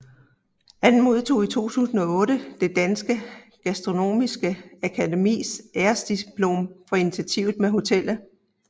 Han modtog i 2008 Det Danske Gastronomiske Akademis æresdiplom for initiativet med hotellet